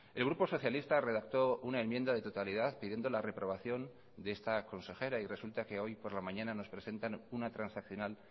el grupo socialista redactó una enmienda de totalidad pidiendo la reprobación de esta consejera y resulta que hoy por la mañana nos presentan una transaccional